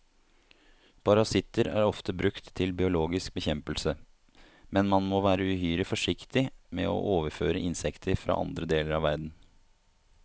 Parasitter er ofte brukt til biologisk bekjempelse, men man må være uhyre forsiktig med å overføre insekter fra andre deler av verden.